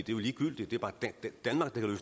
jo ligegyldigt